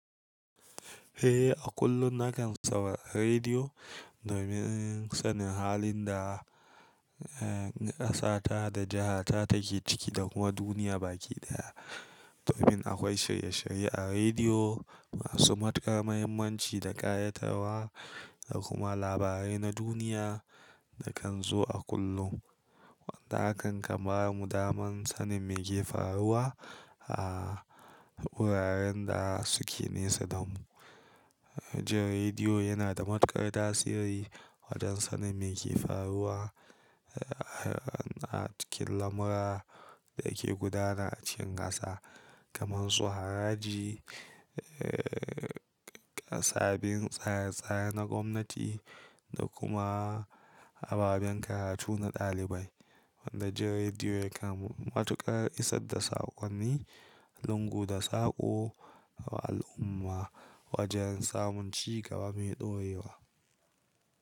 Eh, a kullum nakan saurari rediyo domin sanin halin da ƙasa ta da jiha ta take ciki da kuma duniya baki daya. Domin akwai shirye shirye a rediyo masu matukar mahimmanci da ƙayatarwa da kuma labarai na duniya da kan zo a kullum. Wanda hakan kan ba mu daman sanin meke faruwa a wuraren da suke nesa da mu. Jin rediyo yana da matukar tasiri wajen sanin meke faruwa a cikin lamura da ke gudana a cikin ƙasa kaman su haraji, kasafin tsare tsare na gwamnati da kuma ababen karatu na dalibai. Wanda jin rediyo yakan matukar isar da saƙonni lungu da saƙo ga al'umma wajen samun cigaba mai dorewa.